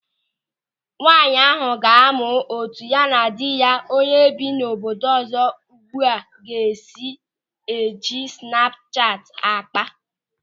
Nwaanyị ahụ ga-amụ etu ya na di ya onye bi n'obodo ọzọ ugbu a ga-esi eji snapu chati ákpá.